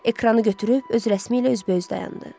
Ekranı götürüb öz rəsmi ilə üz-bə-üz dayandı.